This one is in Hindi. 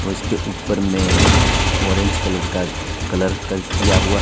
और इसके ऊपर में ऑरेंज कलर का कलर कर किया हुआ--